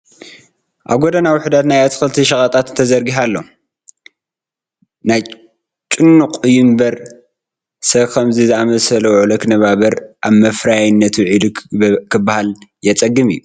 ኣብ ጐደና ውሕዳት ናይ ኣትክልቲ ሸቐጣት ተዘርጊሑ ኣሎ፡፡ ናይ ጭኑቕ እዩ እምበር ሰብ ብኸምዚ ዝኣምሰለ ውዕሎ ክነባበር ኣብ መፍረያይነት ውዒሉ ክበሃል የፀግም እዩ፡፡